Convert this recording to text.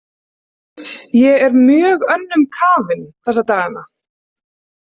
Ég er mjög önnum kafin þessa dagana.